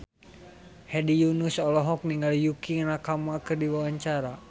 Hedi Yunus olohok ningali Yukie Nakama keur diwawancara